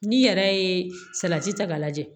N'i yɛrɛ ye salati ta k'a lajɛ